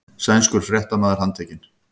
Sænskur fréttamaður handtekinn